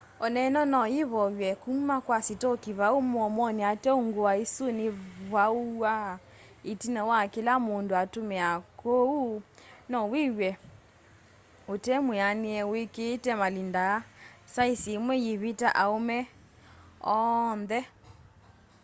oneno no yivoywe kuma kwa sitoko vau muomoni ateo ngua isu nivuawa itina wa kila mundu atumia kwoou nowiw'e utemwianie wikiite malinda aa saisi imwe yiviti aume oonthe